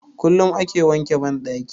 Kullum ake wanke Banɗaki.